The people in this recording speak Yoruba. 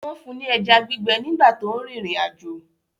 Wọ́n fún ní ẹja gbígbẹ nígbà tó ń rìnrìn àjò